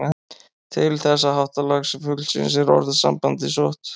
Til þessa háttalags fuglsins er orðasambandið sótt.